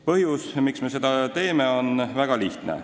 Põhjus, miks me seda teeme, on väga lihtne.